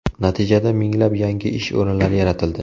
Natijada minglab yangi ish o‘rinlari yaratildi.